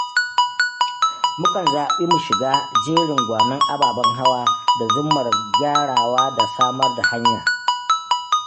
Mu kan zaɓi mu shiga jerin gwanon ababen hawa da zummar gyarawa da samar da hanya.